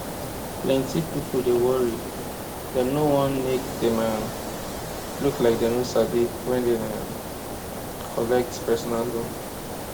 plenty people dey worry dem no wan make dem um look like dem no sabi when dem um collect personal loan